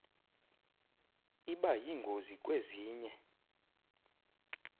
iba yingozi kwezinye